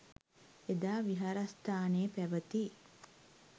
එදා විහාරස්ථානයේ පැවැති